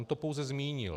On to pouze zmínil.